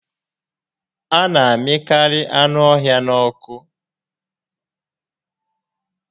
A na amịkarị anụ ọhịa n'ọkụ